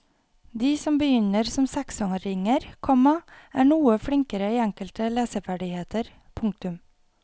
De som begynner som seksåringer, komma er noe flinkere i enkelte leseferdigheter. punktum